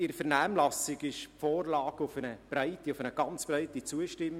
In der Vernehmlassung stiess die Vorlage auf eine sehr breite Zustimmung.